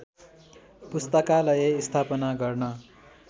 पुस्तकालय स्थापना गर्न